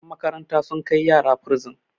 yanmakaranta sun Kai ziyara bursin